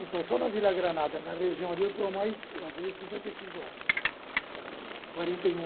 Então, só na Vila Granada, na região ali, estou há mais vai fazer cinquenta e cinco anos. Quarenta e um